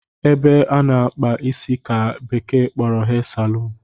Ebe ana akpa isi ka bekee kporo Hair saloon